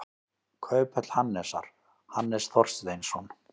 Kauphöll Hannesar, Hannes Þorsteinsson.